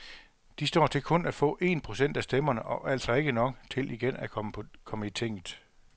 De står til kun at få en procent af stemmerne, og altså ikke nok til igen at komme i tinget.